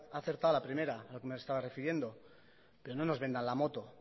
ha acertado a la primera a lo que me estaba refiriendo pero no nos vendan la moto